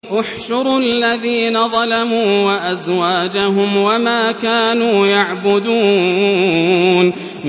۞ احْشُرُوا الَّذِينَ ظَلَمُوا وَأَزْوَاجَهُمْ وَمَا كَانُوا يَعْبُدُونَ